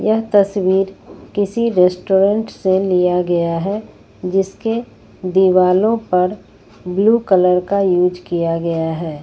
यह तस्वीर किसी रेस्टोरेंट से लिया गया है जिसके दीवालो पर ब्लू कलर का यूज किया गया है।